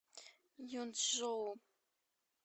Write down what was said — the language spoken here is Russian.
юнчжоу